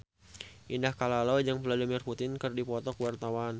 Indah Kalalo jeung Vladimir Putin keur dipoto ku wartawan